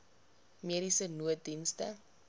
mediese nooddienste